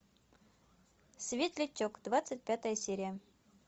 светлячок двадцать пятая серия